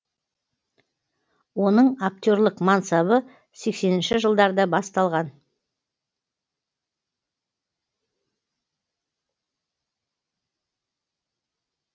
оның актерлік мансабы сексенінші жылдарда басталған